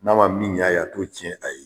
N'a ma min ɲ'a ye a t'o tiɲɛ a ye.